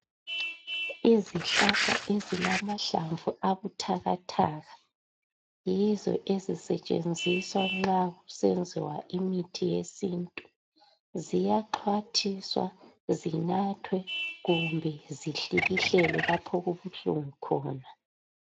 Izihlahla ezilamahlamvu abuthakathaka ,yizo ezisetshenziswa nxa kusenziwa imithi yesintu. Ziyaxhwathiswa ,zinathwe kumbe zihlikihlelwe lapho okubuhlungu khona.